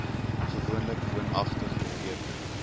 gewoonlik woonagtig beteken